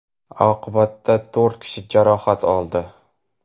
Oqibatda to‘rt kishi jarohat oldi.